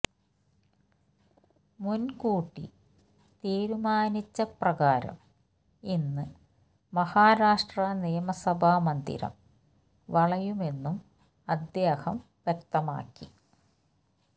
മുൻകൂട്ടി തീരുമാനിച്ചപ്രകാരം ഇന്ന് മഹാരാഷ്ട്ര നിയമസഭാ മന്ദിരം വളയുമെന്നും അദ്ദേഹം വ്യക്തമാക്കി